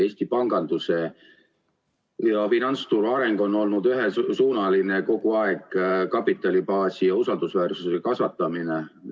Eesti panganduse ja finantsturu areng on olnud kogu aeg ühesuunaline, kasvatada kapitalibaasi ja usaldusväärsust.